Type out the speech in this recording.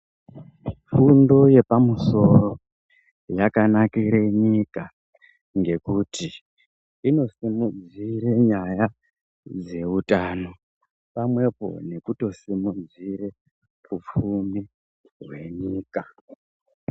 Fundo yepa musoro yakanakire nyika, ngekuti ino simudzire nyaya dzeutano, pamwepo neku tosimudzire upfumi hwenyika.